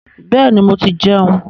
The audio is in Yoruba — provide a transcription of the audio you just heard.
Bẹ́ẹ̀ni, mo ti jẹun.